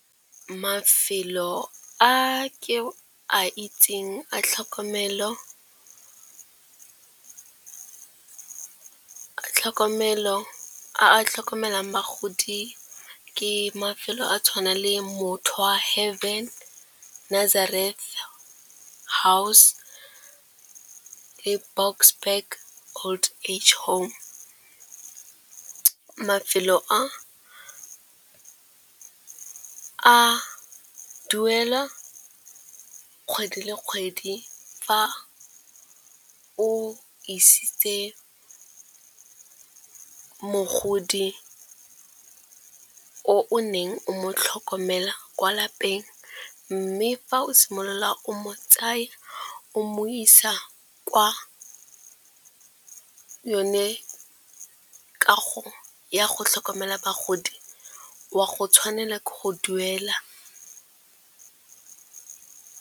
Mafelo a ke a itseng a tlhokomelo a tlhokomelang bagodi ke mafelo a tshwana le Mothoa Heaven Nazareth House, ke Boksburg Old Age Home. Mafelo a a duelwa kgwedi le kgwedi fa o isitse mogodi o neng o mo tlhokomela kwa lapeng. Mme fa o simolola o mo tsaya o mo isa kwa yone kago ya go tlhokomela bagodi wa go tshwanela ke go duela.